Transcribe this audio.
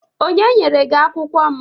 Onye nyere gị akwukwo m?